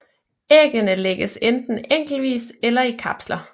Æggene lægges enten enkeltvis eller i kapsler